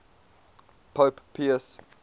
pope pius